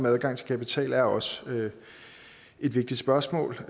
adgang til kapital er også et vigtigt spørgsmål